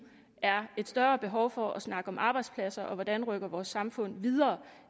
er et større behov for at snakke om arbejdspladser og hvordan vi rykker vores samfund videre